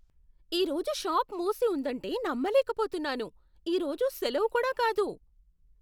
ఈరోజు షాప్ మూసి ఉందంటే నమ్మలేకపోతున్నాను! ఈరోజు సెలవు కూడా కాదు.